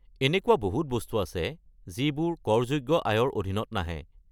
এনেকুৱা বহুত বস্তু আছে যিবোৰ কৰযোগ্য আয়ৰ অধীনত নাহে।